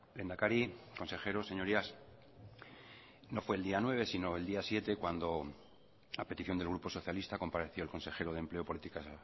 lehendakari consejeros señorías no fue el día nueve sino el día siete cuando a petición del grupo socialista compareció el consejero de empleo políticas